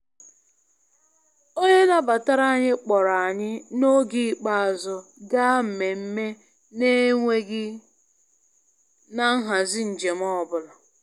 Onye nabatara anyị kpọrọ anyị n'oge ikpeazụ gaa nmemme na-enweghị na nhazi njem ọ bụla.